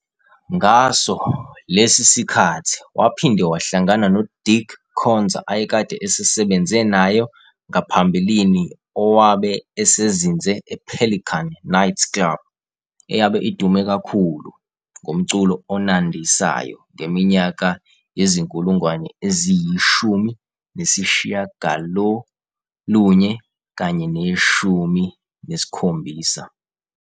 Ngaso lesi sikhathi waphinde wahlangana noDick Khonza ayekade esesebenze naye ngaphambilini owabe esezinze e-Pelican Nightclub, eyabe idume kakhulu ngomculo onandisayo ngeminyaka yezi-1970.